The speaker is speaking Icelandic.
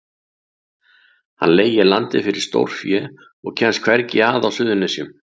Hann leigir landið fyrir stórfé og kemst hvergi að á Suðurnesjum.